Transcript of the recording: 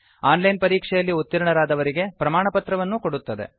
on line ಪರೀಕ್ಷೆಯಲ್ಲಿ ಉತ್ತೀರ್ಣರಾದವರಿಗೆ ಪ್ರಮಾಣಪತ್ರವನ್ನೂ ಕೊಡುತ್ತದೆ